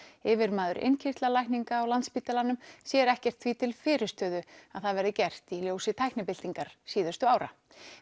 yfirmaður á Landspítalanum sér ekkert því til að fyrirstöðu að það verði gert í ljósi tæknibyltingar síðustu ára